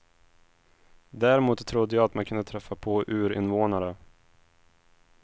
Däremot trodde jag att man kunde träffa på urinvånare.